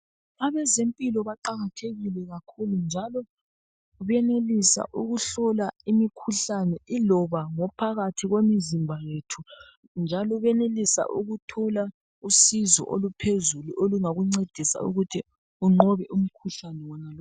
Abezempilo baqakathekile kakhulu njalo benelisa ukuhlola imikhuhlane iloba ngophakathi kwemizimba yethu, njalo benelisa ukuthola usizo oluphezulu olungakuncedisa ukuthi unqobe umkhuhlane wonalowo.